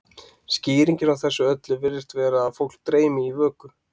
skýringin á þessu öllu virðist vera að fólk dreymi í vöku